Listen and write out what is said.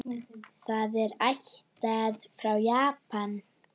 Það er ættað frá Japan.